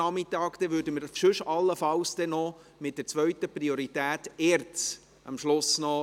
Dann würden wir am Schluss allenfalls noch die zweite Priorität ERZ drannehmen.